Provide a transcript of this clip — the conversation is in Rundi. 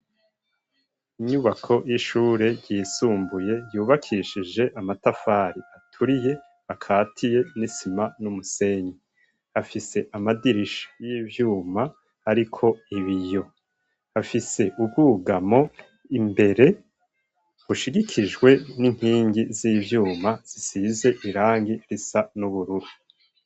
Inyubako y'ishure yisumbuye yubakishije amatafari aturiye akatiye n'isima n'umusenyi. Hafise amadirisha y'ivyuma ariko ibiyo, hafise ubwugamo imbere ushigikijwe n'inkingi z'ivyuma zisize irangi risa n'ubururu.